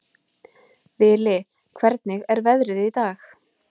Vili, hvernig er veðrið í dag?